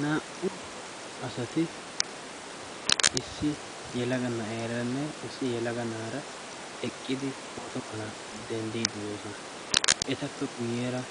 naa77u asati issi yalagana7eeraanne issi yalaganaara eqqidi pootuwa mala denddiidi doosona etappe guyyeera